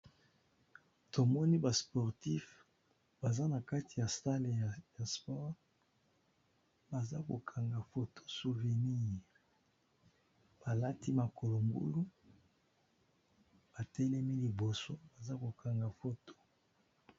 Tomoni ba sportif baza na kati ya stale ya ya sport baza kokanga foto souvenir balati makolo ngulu batelemi liboso baza kokanga foto.